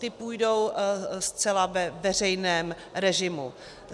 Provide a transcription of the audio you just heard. Ti půjdou zcela ve veřejném režimu.